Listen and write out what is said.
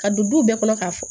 Ka don du bɛɛ kɔnɔ k'a fɔ